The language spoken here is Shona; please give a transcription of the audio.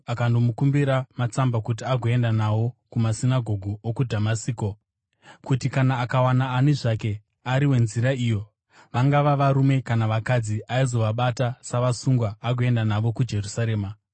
akandomukumbira matsamba kuti agoenda nawo kumasinagoge okuDhamasiko, kuti kana akawana ani zvake ari weNzira iyo, vangava varume kana vakadzi, aizovabata savasungwa agoenda navo kuJerusarema.